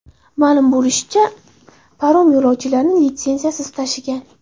Ma’lum bo‘lishicha, parom yo‘lovchilarni litsenziyasiz tashigan.